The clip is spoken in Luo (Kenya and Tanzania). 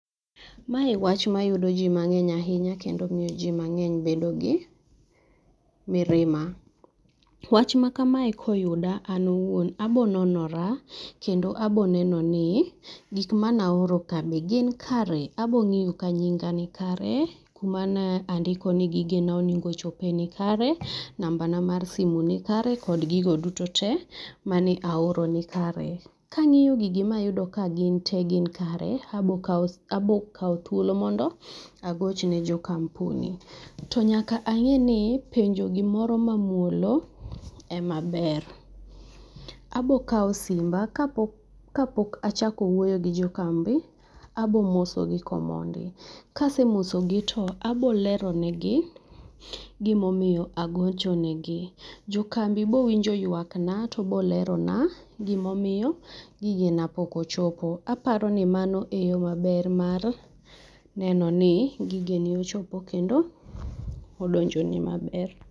Mae wach mayudo ji mang'eny ahinya kendo miyo ji mang'eny bedo gi mirima. Wach makamae koyuda an awuon abiro nonora kendo abironeno ni gik manaoroka be gin kare, abiro ka nyinga nikare, kuma ne andiko ni gigene na onego ochope nikare, nambana mar simu nikare kod gigo duto te mane aoro nikare. Ka ang'iyo gigi mayudo ni gin te nikare, abiro kawo thuolo mondo agoch ne jo kampuni to nyaka ang'e ni penjo gimoro mamuolo ema ber. Abiro kawo simba, kapok achako wuoyo gi jo kambi abiro mosogi komondi, kasemosogi to abiro leronegi gima omiyo agochonegi. Jokambi biro winjo yuakna to biro lerona gima omiyo gigena pok ochopo. Aparo ni mano eyo mar maber mar neno ni gigeni ochopo kendo odonjoni maber.